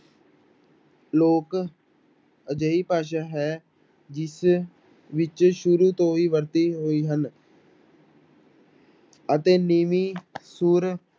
ਲੋਕ ਅਜਿਹੀ ਭਾਸ਼ਾ ਹੈ, ਜਿਸ ਵਿੱਚ ਸ਼ੁਰੂ ਤੋਂ ਹੀ ਵਰਤੇ ਹੋਏ ਹਨ ਅਤੇ ਨੀਵੀਂ ਸੁਰ